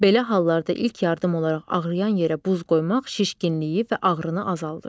Belə hallarda ilk yardım olaraq ağrıyan yerə buz qoymaq şişkinliyi və ağrını azaldır.